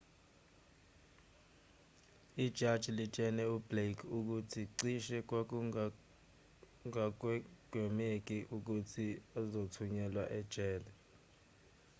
ijaji litshele ublake ukuthi cishe kwakungagwemeki ukuthi uzothunyelwa ejele